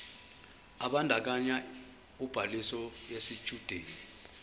ebandakanya ubhaliso yesitshudeni